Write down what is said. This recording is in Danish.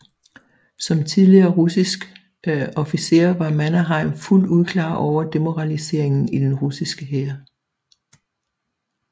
Som tidligere russiske officer var Mannerheim fuldt ud klar over demoraliseringen i den russiske hær